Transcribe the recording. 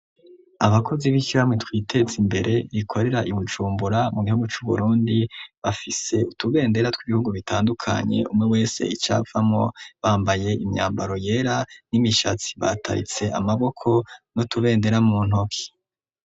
Abakozi b'ishiraharamwe twitezimbere rikorera I Bujumbura mu gihugu cu Burundi bafise utubendera tw'ibihugu bitandukanye umwe wese icavamo bambaye imyambaro yera n'imishatsi bataritse amaboko nu tubendera mu ntoki.